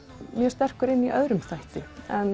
sterkur inn í öðrum þætti